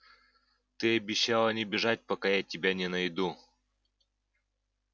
ты обещала не бежать пока я тебя не найду